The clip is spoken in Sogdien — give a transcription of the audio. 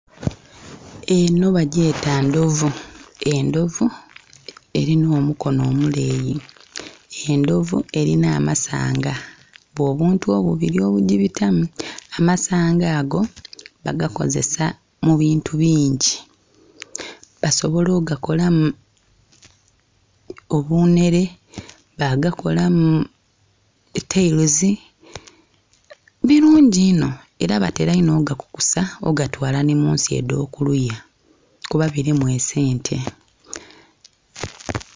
Eno bagyeta ndhovu, endhovu erina omukono omuleyi, endhovu erina amasanga obwo obuntu obubiri obugibitamu. Amasanga ago bagakozesa mu bintu bingi. Basobola ogakolamu obunhere, bagakolamu etailozi, birungi inho era batera inho ogakukusa ogatwala ni munsi edh'okuliya kuba birimu esente.